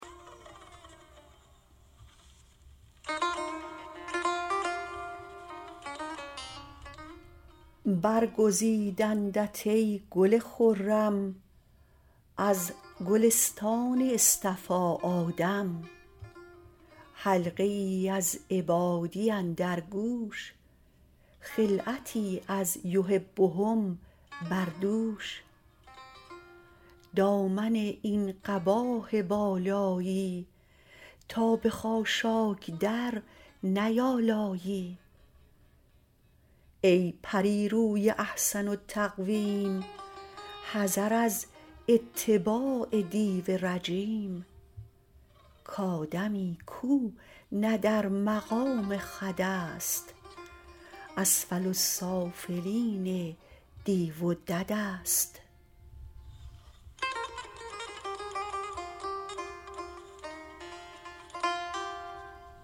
برگزیدندت ای گل خرم از گلستان اصطفی آدم حلقه ای از عبادی اندر گوش خلعتی از یحبهم بر دوش دامن این قباه بالایی تا به خاشاک در نیالایی ای پریروی احسن التقویم حذر از اتباع دیو رجیم کادمی کو نه در مقام خودست اسفل السافلین دیو و ددست